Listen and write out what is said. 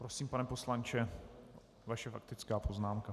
Prosím, pane poslanče, vaše faktická poznámka.